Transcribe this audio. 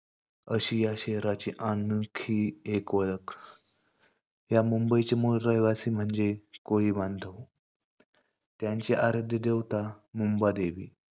अशी या शहराची आणखी एक ओळख. या मुंबईचे मूळ रहिवासी म्हणजे कोळी बांधव. त्यांचे आराध्य देवता मुंबादेवी.